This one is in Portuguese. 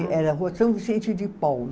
Era rua São Vicente de Paulo.